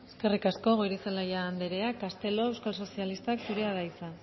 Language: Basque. eskerrik asko goirizelaia andrea castelo euskal sozialistak zurea da hitza